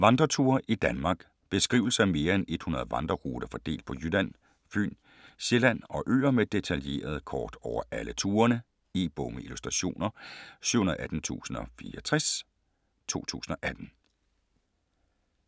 Gang Rasmussen, Torben: Vandreture i Danmark Beskrivelser af mere end 100 vandreruter fordelt på Jylland, Fyn, Sjælland og øer med detaljerede kort over alle turene. E-bog med illustrationer 718064 2018.